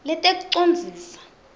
letekucondziswa